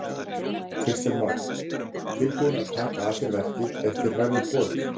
Kristján Már: Tilbúin að taka að þér verkið ef þér verður boðið?